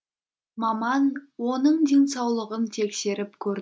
маман оның денсаулығын тексеріп көр